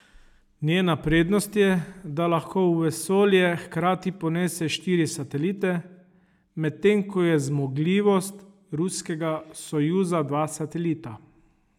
Njena prednost je, da lahko v vesolje hkrati ponese štiri satelite, medtem ko je zmogljivost ruskega sojuza dva satelita.